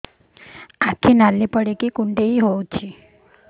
ଆଖି ନାଲି ପଡିକି କୁଣ୍ଡେଇ ହଉଛି